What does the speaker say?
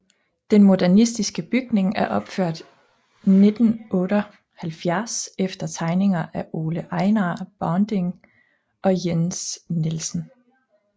Den modernistiske bygning er opført 1978 efter tegninger af Ole Ejnar Bonding og Jens Nielsen